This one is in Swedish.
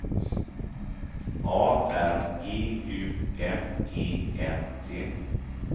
A R G U M E N T